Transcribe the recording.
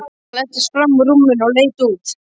Hann læddist fram úr rúminu og leit út.